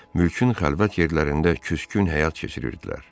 Mülkün xəlvət yerlərində küskün həyat keçirirdilər.